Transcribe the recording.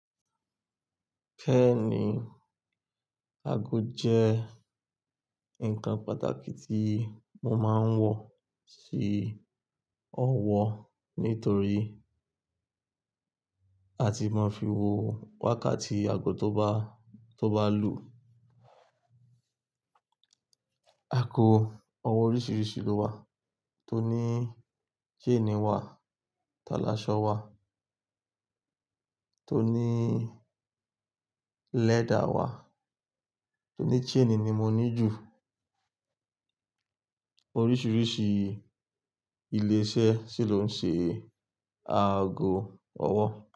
Kẹ́ ní aago jẹ́ nǹkan pàtàkì tí mo máa ń wọ sí ọwọ́ nítorí a ti máa fi wo wákàtí aago tó bá, tó bá lù. Aago ọwọ́ oríṣiríṣi ló wà, tó ní chain wà, tá láṣọ wà, tó ní leather wà, tó ní chain ni mo ní jù. Oríṣiríṣi ilé iṣẹ́ sì ló ń ṣe aago ọwọ́